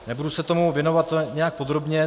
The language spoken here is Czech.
Nebudu se tomu věnovat nějak podrobně.